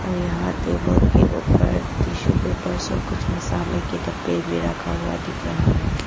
और यहां टेबल के ऊपर टिशू पेपर कुछ मसाले के डब्बे भी रखा हुआ दिख रहा है।